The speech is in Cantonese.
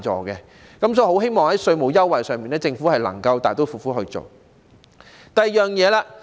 因此，我希望在稅務優惠上，政府能夠大刀闊斧地實行。